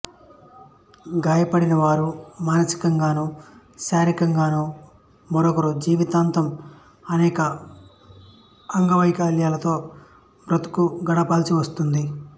గాయపడినవారు మానసికంగాను శారీరికంగాను ఒకోమారు జీవితాంతం అనేక వైకల్యాలతో బ్రతుకు గడపవలసి వస్తుంది